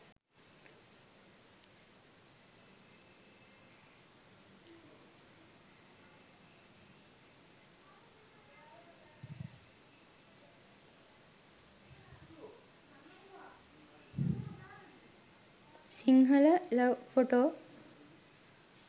sinhala love photo